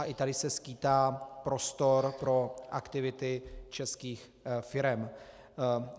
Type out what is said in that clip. A i tady se skýtá prostor pro aktivity českých firem.